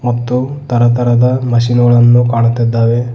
ಮತ್ತು ತರತರದ ಮಷೀನ್ ಗಳನ್ನು ಕಾಣುತ್ತಿದ್ದಾವೆ.